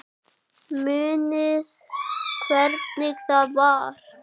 Munið þið hvernig það var?